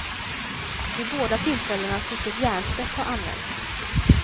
Vid båda tillfällena tycks ett järnspett ha använts.